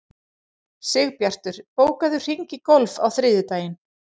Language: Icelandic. Sigbjartur, bókaðu hring í golf á þriðjudaginn.